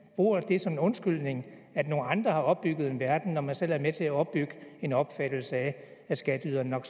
bruger det som en undskyldning at nogle andre har opbygget en verden når man selv har været med til at opbygge en opfattelse af at skatteyderne nok